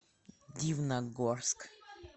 дивногорск